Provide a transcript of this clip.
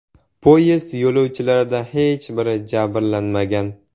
Poyezd yo‘lovchilaridan hech biri jabrlanmagan.